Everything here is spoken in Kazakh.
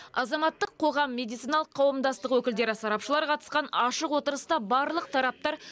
азаматтық қоғам медициналық қауымдастық өкілдері сарапшылар қатысқан ашық отырыста барлық тараптар